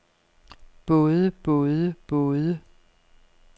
både både både